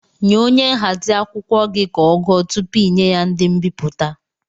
Nye onye nhazi akwụkwọ gị ka ọ gụọ tụpụ inye ya ndị mbipụta!